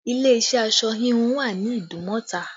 Ilé iṣẹ́ aṣọ híhun wà ní Idumota